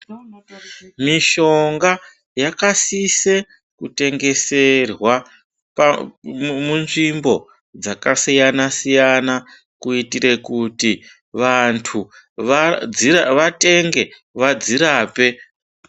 Mishonga yakasise kutengeserwaa munzvimbo dzakasiyana siyana kuitire kuti vandu vatenge vadzirape.